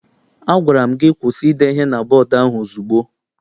A gwara m gị kwụsị ide ihe na bọdu ahụ ozugbo!